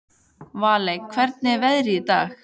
Valey, hvernig er veðrið í dag?